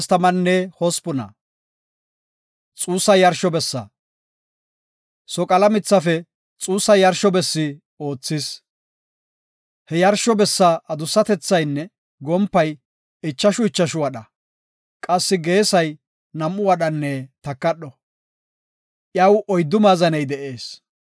Soqala mithafe xuussa yarsho bessi oothis. He yarsho bessa adussatethaynne gompay, ichashu ichashu wadha, qassi geesay nam7u wadhanne takadho. Iyaw oyddu maazaney de7ees.